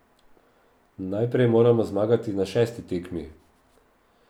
Najprej moramo zmagati na šesti tekmi.